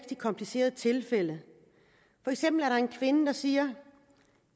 i komplicerede tilfælde for eksempel er der en kvinde der siger